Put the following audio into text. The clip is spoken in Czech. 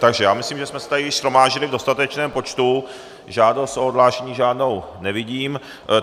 Takže já myslím, že jsme se tady shromáždili v dostatečném počtu, žádost o odhlášení žádnou nevidím.